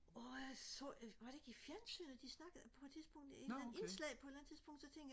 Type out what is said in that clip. årh jeg så jeg var det ikke i fjernsynet de snakkede på et tidspunkt et eller andet indslag på et eller andet tidspunkt så tænkte jeg